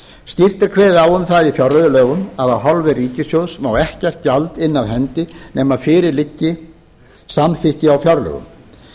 skýrt er kveðið á um það í fjárreiðulögum að af hálfu ríkissjóðs má ekkert gjald inna af hendi nema fyrir liggi samþykki á fjárlögum